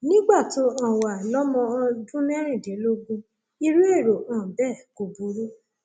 nígbà tó um o wà lọmọ um ọdún mẹrìndínlógún irú èrò um bẹẹ kò burú